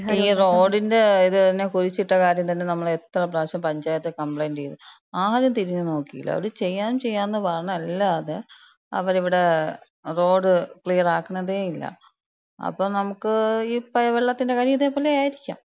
ഈ റോഡിന്‍റ ഇതെന്നെ കുഴിച്ചിട്ട കാര്യം തന്നെ നമ്മള് എത്ര പ്രാവശ്യം പഞ്ചായത്തി കംപ്ലെയ്ന്‍റ് ചെയ്ത്, ആരും തിരിഞ്ഞ് നോക്കീല. അവര് ചെയ്യാം ചെയ്യാന്ന് പറയണല്ലാതെ അവര്വ്ടെ റോഡ് ക്ലിയറാക്ക്ണതേല്യ. അപ്പം നമ്ക്ക് ഇപ്പ, വെള്ളത്തിന്‍റ കാര്യം ഇതേപോലെ ആയിരിക്ക്യാം.